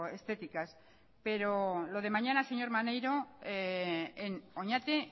estéticas pero lo de mañana señor maneiro en oñati